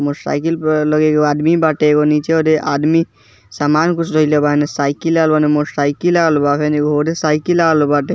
Motor cycle पर लगे हेय एगो आदमी बाटे एगो नीचे ओने आदमी सामान कुछ धईले बा एने साइकिल आर मोटर साइकिल लागल बा फेर ओने मोटर साइकिल लागल बाटे।